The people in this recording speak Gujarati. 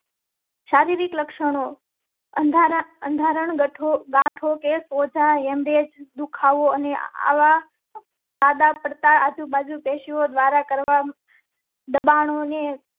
શારિરીક લક્ષણો અંધાર અંગત હોકે સોચા એમએચ દુખાવો અને આવા. બાજુ કેશો દ્વારા કરવામાં. દબાણો ને